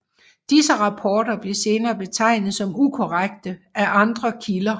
Disse rapporter blev senere betegnet som ukorrekte af andre kilder